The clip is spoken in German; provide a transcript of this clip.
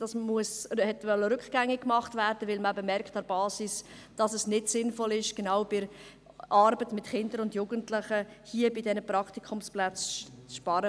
In Lyss wollte man es rückgängig machen, weil man eben an der Basis gemerkt hat, dass es nicht sinnvoll ist, genau bei der Arbeit mit Kindern und Jugendlichen an den Praktikumsplätzen zu sparen.